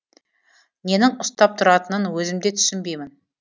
ненің ұстап тұратынын өзім де түсінбеймін